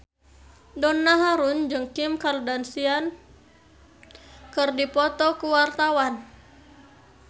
Donna Harun jeung Kim Kardashian keur dipoto ku wartawan